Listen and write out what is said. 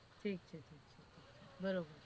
ઠીક છે બરોબર.